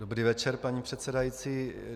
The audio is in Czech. Dobrý večer, paní předsedající.